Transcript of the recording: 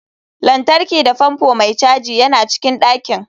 Lantarki da fanfo mai caji yana cikin ɗakin.